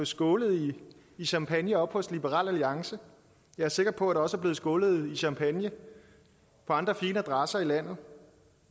skålet i champagne hos liberal alliance og jeg er sikker på der også er blevet skålet i champagne på andre fine adresser i landet